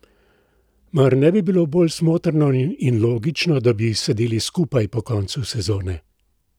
Mar ne bi bilo bolj smotrno in logično, da bi sedeli skupaj po koncu sezone?